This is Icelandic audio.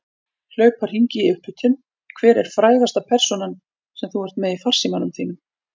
Hlaupa hringi í upphitun Hver er frægasta persónan sem þú ert með í farsímanum þínum?